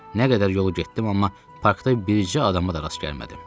Nə qədər yol getdim, amma parkda bircə adama da rast gəlmədim.